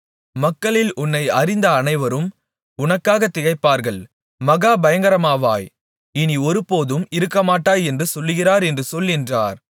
மக்களில் உன்னை அறிந்த அனைவரும் உனக்காக திகைப்பார்கள் மகா பயங்கரமாவாய் இனி ஒருபோதும் இருக்கமாட்டாய் என்று சொல்லுகிறார் என்று சொல் என்றார்